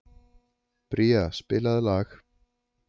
Bría, spilaðu lag.